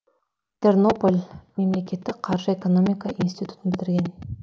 тернополь мемлекеттік қаржы экономика институтын бітірген